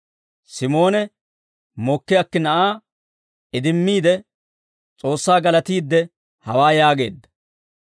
Simoone mokki akki na'aa idimmiide S'oossaa galatiidde hawaa yaageedda: